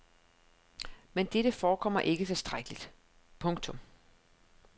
Men dette forekommer ikke tilstrækkeligt. punktum